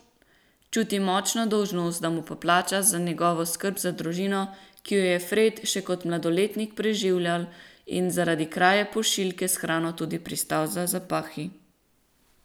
Čuti močno dolžnost, da mu poplača za njegovo skrb za družino, ki jo je Fred še kot mladoletnik preživljal in zaradi kraje pošiljke s hrano tudi pristal za zapahi.